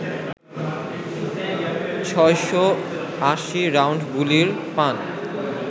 ৬৮০ round গুলি পান